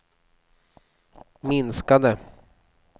minskade